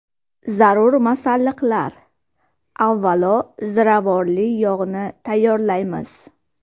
Zarur masalliqlar: Avvalo ziravorli yog‘ni tayyorlaymiz.